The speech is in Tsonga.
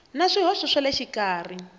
na swihoxo swa le xikarhi